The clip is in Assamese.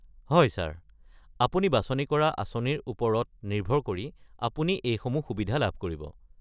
হয় ছাৰ, আপুনি বাচনি কৰা আঁচনিৰ ওপৰত নিৰ্ভৰ কৰি আপুনি এইসমূহ সুবিধা লাভ কৰিব।